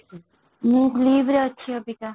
ମୁଁ ଅଛି ଅବିକା |